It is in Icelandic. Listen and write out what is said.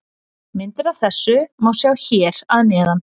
Myndir af þessu má sjá hér að neðan.